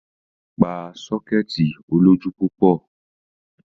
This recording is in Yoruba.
Pa sọ́kẹ́ẹ̀tì olójú púpọ̀.